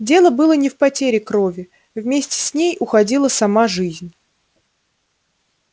дело было не в потере крови вместе с ней уходила сама жизнь